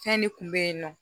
Fɛn de kun be yen nɔ